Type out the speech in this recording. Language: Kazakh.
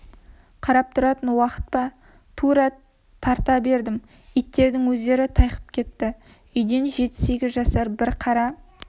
қарап тұратын уақыт па тура тарта бердім иттердің өздері тайқып кетті үйден жеті-сегіз жасар бір қара